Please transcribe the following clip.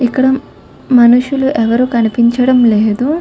ఇక్కడ మనుషులు ఎవరు కనిపించడం లేదు.